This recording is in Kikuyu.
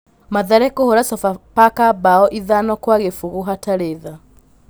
Mathare kũhũra Sofapaka mbao ithano kwa gĩbũgũ hatarĩ tha